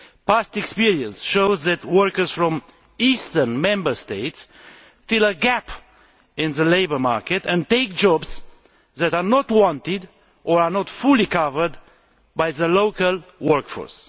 Past experience shows that workers from eastern Member States fill a gap in the labour market and take jobs that are not wanted or are not fully covered by the local workforce.